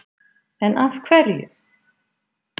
En af hverju?!